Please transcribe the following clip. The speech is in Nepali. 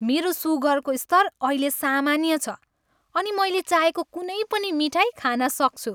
मेरो सुगरको स्तर अहिले सामान्य छ अनि मैले चाहेको कुनै पनि मिठाई खान सक्छु।